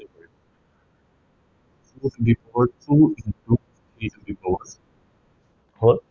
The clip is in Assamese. twenty four two into two the to the power hall.